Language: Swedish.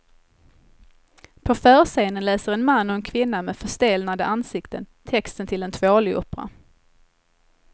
På förscenen läser en man och en kvinna med förstelnade ansikten texten till en tvålopera.